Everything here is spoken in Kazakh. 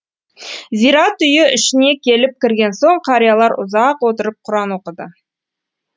зират үйі ішіне келіп кірген соң қариялар ұзақ отырып құран оқыды